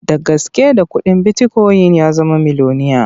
Da gaske da kuɗin bitikoyin ya zama miloniya.